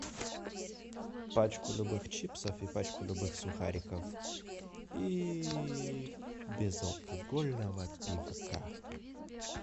пачку любых чипсов и пачку любых сухариков и безалкогольного пивка